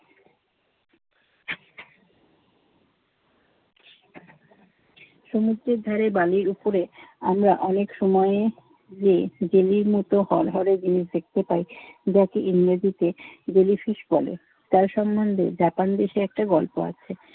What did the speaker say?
সমুদ্রের ধারে বালির উপরে আমরা অনেক সময়ে যেয়ে জেলির মত হরহরে জিনিস দেখতে পাই। যাকে ইংরেজিতে জেলিফিশ বলে। তার সম্বন্ধে জাপান দেশে একটা গল্প আছে।